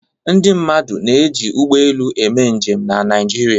Ndị mmadụ na-eji ụgbọelu eme njem na Naịjirịa.